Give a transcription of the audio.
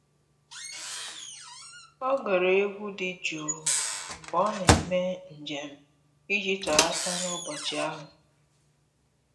Ọ́ gere égwu dị jụụ mgbe ọ́ nà-èmé njem iji tọ́ghàta n’ụ́bọ̀chị̀ ahụ́.